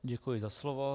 Děkuji za slovo.